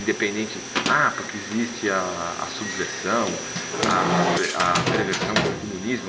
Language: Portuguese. Independente, ah, porque existe a a subversão, a a per a perversão do comunismo.